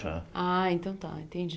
Ah, então tá, entendi.